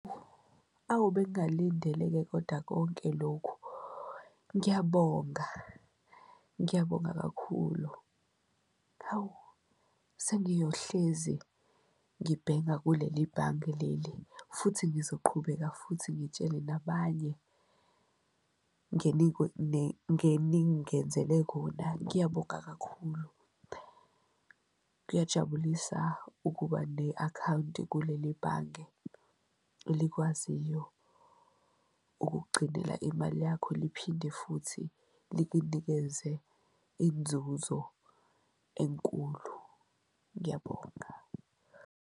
Awu bengalindele-ke kodwa konke lokhu ngiyabonga, ngiyabonga kakhulu. Hawu sengiyohlezi ngibhenga kuleli bhange leli futhi ngizoqhubeka futhi ngitshele nabanye ngeningenzele kona, ngiyabonga kakhulu. Kuyajabulisa ukuba ne-akhawunti kuleli bhange elikwaziyo ukukugcinela imali yakho liphinde futhi likunikeze inzuzo enkulu, ngiyabonga.